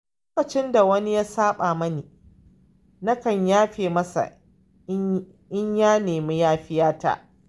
Lokacin da wani ya saɓa mani, nakan yafe masa in ya nemi yafiyata..